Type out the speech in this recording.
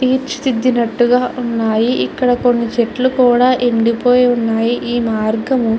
తీర్చిదిద్దినట్టుగా ఉన్నాయి. ఇక్కడ కొన్ని చెట్లు కూడా ఎండి పోయి ఉన్నాయి. ఈ మార్గము --